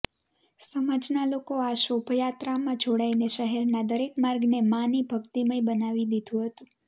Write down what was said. સમાજ ના લોકો આ શોભાયાત્રામાં જોડાઈને શહેરના દરેક માર્ગને માં ની ભક્તિમય બનાવી દીધું હતું